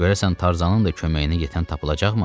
Görəsən Tarzanın da köməyinə yetən tapılacaqmı?